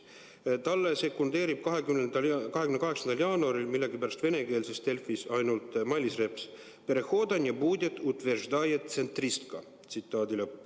" Talle sekundeerib 28. jaanuaril millegipärast venekeelses Delfis ainult Mailis Reps: "Перехода не будет, утверждает центриcткa.